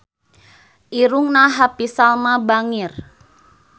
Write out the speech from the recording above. Irungna Happy Salma bangir